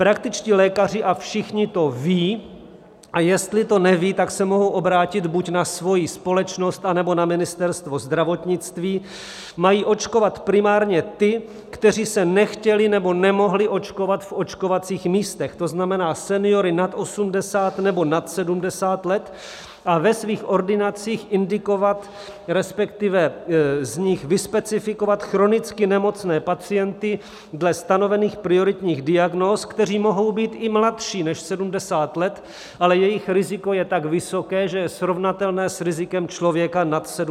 Praktičtí lékaři - a všichni to ví, a jestli to neví, tak se mohou obrátit buď na svoji společnost, anebo na Ministerstvo zdravotnictví - mají očkovat primárně ty, kteří se nechtěli nebo nemohli očkovat v očkovacích místech, to znamená seniory nad 80 nebo nad 70 let, a ve svých ordinacích indikovat, respektive z nich vyspecifikovat, chronicky nemocné pacienty dle stanovených prioritních diagnóz, kteří mohou být i mladší než 70 let, ale jejich riziko je tak vysoké, že je srovnatelné s rizikem člověka nad 70 let.